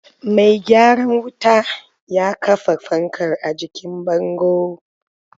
Mai gyaran wutar ya kafa fankar a jikin bango.